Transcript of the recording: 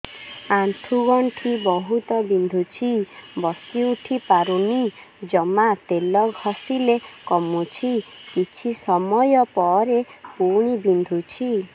ଆଣ୍ଠୁଗଣ୍ଠି ବହୁତ ବିନ୍ଧୁଛି ବସିଉଠି ପାରୁନି ଜମା ତେଲ ଘଷିଲେ କମୁଛି କିଛି ସମୟ ପରେ ପୁଣି ବିନ୍ଧୁଛି